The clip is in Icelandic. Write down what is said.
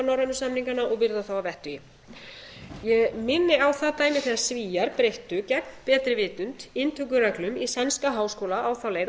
norrænu samningana og virða þá að vettugi ég minni á það dæmi þegar svíar breyttu gegn betri vitund inntökureglum í sænska háskóla á þá leið að